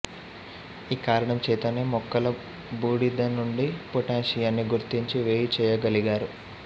ఈ కారణం చేతనే మొక్కల బూడిదనుండి పోటాషియాన్ని గుర్తించి వేరుచేయ్యగలిగారు